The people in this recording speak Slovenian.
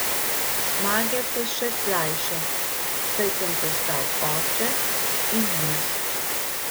Zmage so še slajše, saj sem postal oče in mož.